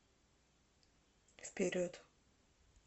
вперед